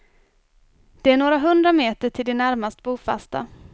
Det är några hundra meter till de närmast bofasta.